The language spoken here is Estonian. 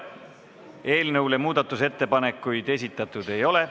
Eelnõu kohta muudatusettepanekuid esitatud ei ole.